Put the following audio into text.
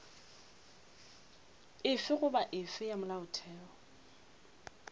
efe goba efe ya molaotheo